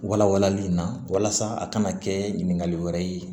Wala walali in na walasa a kana kɛ ɲininkali wɛrɛ ye